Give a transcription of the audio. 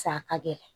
Sa ka gɛlɛn